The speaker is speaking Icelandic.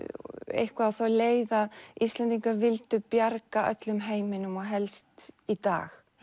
eitthvað á þá leið að Íslendingar vildu bjarga öllum heiminum og helst í dag